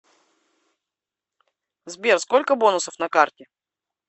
сбер сколько бонусов на карте